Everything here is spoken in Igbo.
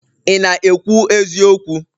ị na-ekwu eziokwu?